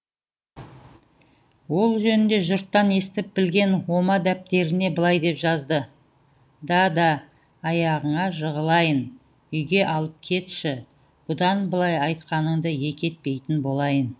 ол жөнінде жұрттан естіп білген ома дәптеріне былай деп жазды дада аяғыңа жығылайын үйге алып кетші бұдан былай айтқаныңды екі етпейтін болайын